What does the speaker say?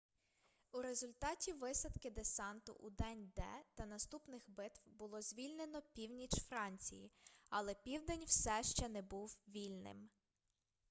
у результаті висадки десанту у день д та наступних битв було звільнено північ франції але південь все ще не був вільним